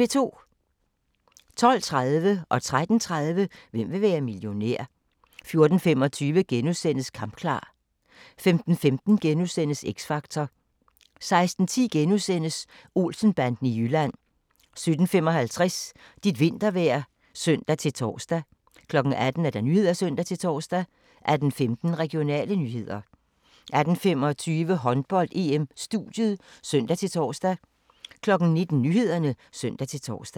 12:30: Hvem vil være millionær? 13:30: Hvem vil være millionær? 14:25: Kampklar (1:6)* 15:15: X Factor * 16:10: Olsen-banden i Jylland * 17:55: Dit vintervejr (søn-tor) 18:00: Nyhederne (søn-tor) 18:15: Regionale nyheder 18:25: Håndbold: EM - studiet (søn-tor) 19:00: Nyhederne (søn-tor)